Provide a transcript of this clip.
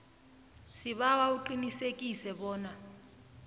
sibawa uqinisekise bona